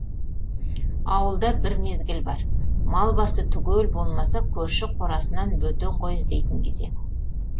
ауылда бір мезгіл бар мал басы түгел болмаса көрші қорасынан бөтен қой іздейтін кезең